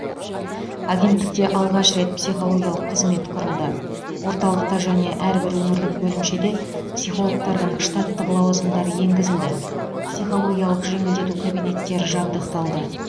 агенттікте алғаш рет психологиялық қызмет құрылды орталықта және әрбір өңірлік бөлімшеде психологтардың штаттық лауазымдары енгізілді психологиялық жеңілдету кабинеттері жабдықталды